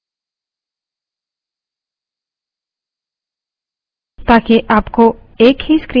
terminal का size बदलते हैं